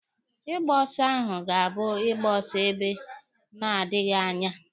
Ịgba ọsọ ahụ ga-abụ ịgba ọsọ ebe na-adịghi anya.